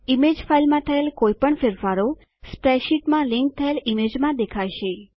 image ફાઈલમાં થયેલ કોઈપણ ફેરફારો સ્પ્રેડશીટમાં લીંક થયેલ ઈમેજમાં દેખાશે